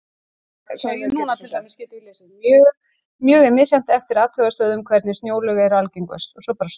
Mjög er misjafnt eftir athugunarstöðvum hvernig snjóalög eru algengust.